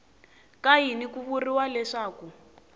ka yini ku vuriwa leswaku